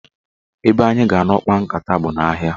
Ebe anyị ga-anọ kpaa nkata a bụ n'ahịa.